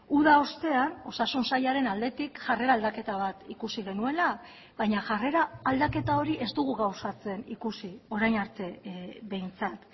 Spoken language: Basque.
uda ostean osasun sailaren aldetik jarrera aldaketa bat ikusi genuela baina jarrera aldaketa hori ez dugu gauzatzen ikusi orain arte behintzat